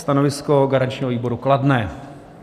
Stanovisko garančního výboru kladné.